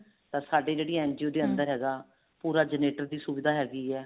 ਤਾਂ ਸਾਡੇ ਜਿਹੜੇ NGO ਦੇ ਅੰਦਰ ਹੈਗਾ ਪੂਰਾ generator ਦੀ ਸੁਵਿਧਾ ਹੈਗੀ ਹੈ